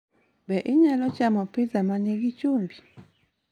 Be inyalo chamo pizza ma nigi chumbi?